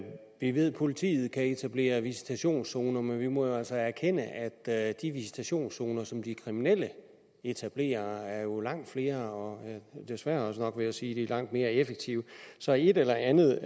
vi ved at politiet kan etablere visitationszoner men vi må jo altså erkende at de visitationszoner som de kriminelle etablerer jo er langt flere og desværre også nok vil jeg sige mere effektive så et eller andet